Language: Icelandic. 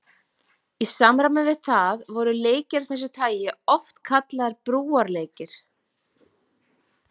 Í samræmi við það voru leikir af þessu tagi oft kallaðir brúarleikir.